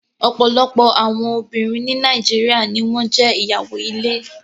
Ọ̀pọ̀lọpọ̀ àwọn obìnrin ní Nàìjíríà ni wọn jẹ́ ìyàwó ilé